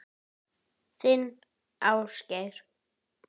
Þinn Ásgeir.